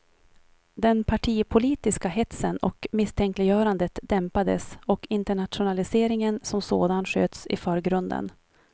Den partipolitiska hetsen och misstänkliggörandet dämpades och internationaliseringen som sådan sköts i förgrunden.